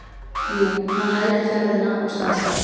Jú, hann hægði ferðina og stansaði.